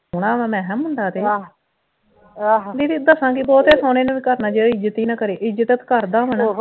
ਸੋਹਣਾ ਵਾ ਮੈ ਕਿਹਾ ਮੁੰਡਾ ਤੇ ਦੀਦੀ ਦੱਸਾਂ ਕਿ ਬਹੁਤੇ ਸੋਹਣੇ ਨੂੰ ਵੀ ਕਰਨਾ ਕੀ ਜਿਹੜਾ ਇੱਜ਼ਤ ਈ ਨਾ ਕਰੇ ਇੱਜ਼ਤ ਕਰਦਾ ਹੋਣਾ